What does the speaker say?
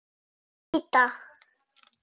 Víti!